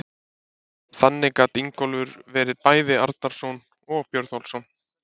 Þannig gat Ingólfur verið bæði Arnarson og Björnólfsson.